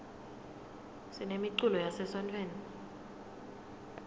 sinemiculo yase sontfweni